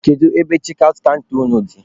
Kedu ebe chekị aụt kanta unu dị?